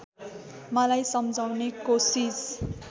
मलाई सम्झाउने कोसिस